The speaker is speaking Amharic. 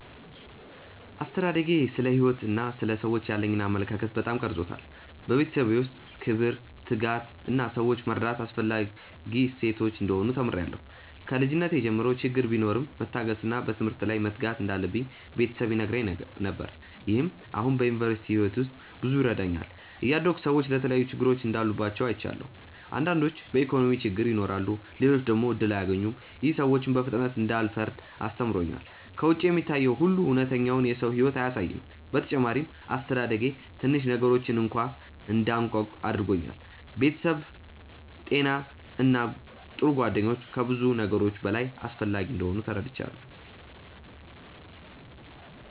አስተዳደጌ ስለ ሕይወት እና ስለ ሰዎች ያለኝን አመለካከት በጣም ቀርጾታል። በቤተሰቤ ውስጥ ክብር፣ ትጋት እና ሰዎችን መርዳት አስፈላጊ እሴቶች እንደሆኑ ተምሬያለሁ። ከልጅነቴ ጀምሮ ችግር ቢኖርም መታገስ እና በትምህርት ላይ መትጋት እንዳለብኝ ቤተሰብ ይነግረኝ ነገር። ይህም አሁን በዩኒቨርሲቲ ሕይወቴ ውስጥ ብዙ ይረዳኛል። እያደግሁ ሰዎች የተለያዩ ችግሮች እንዳሉባቸው አይቻለሁ። አንዳንዶች በኢኮኖሚ ችግር ይኖራሉ፣ ሌሎች ደግሞ እድል አያገኙም። ይህ ሰዎችን በፍጥነት እንዳልፈርድ አስተምሮኛል። ከውጭ የሚታየው ሁሉ እውነተኛውን የሰው ሕይወት አያሳይም። በተጨማሪም አስተዳደጌ ትንሽ ነገሮችን እንኳ እንዳደንቅ አድርጎኛል። ቤተሰብ፣ ጤና እና ጥሩ ጓደኞች ከብዙ ነገሮች በላይ አስፈላጊ እንደሆኑ ተረድቻለሁ።